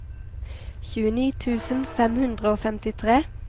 tjueni tusen fem hundre og femtitre